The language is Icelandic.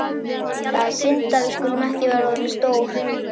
Það er synd að við skulum ekki vera orðin stór.